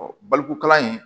balokokalan in